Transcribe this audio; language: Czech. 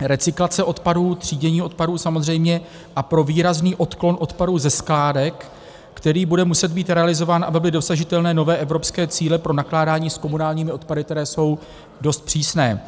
recyklace odpadů, třídění odpadů samozřejmě a pro výrazný odklon odpadů ze skládek, který bude muset být realizován, aby byly dosažitelné nové evropské cíle pro nakládání s komunálními odpady, které jsou dost přísné.